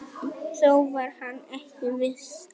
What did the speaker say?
Þó var hann ekki viss.